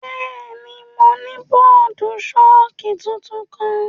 Bẹẹni, Mo ni bọọdu-ṣọki tuntun kan.